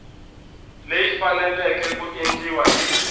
leyi faneleke ku endliwa hi